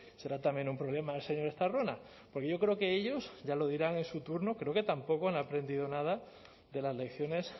será también un problema del señor estarrona porque yo creo que ellos ya lo dirán en su turno creo que tampoco han aprendido nada de las lecciones